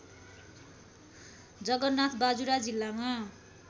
जगन्नाथ बाजुरा जिल्लामा